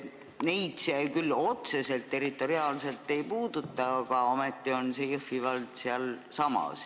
Neid see küll otseselt, territoriaalselt ei puuduta, aga ometi on Jõhvi vald sealsamas.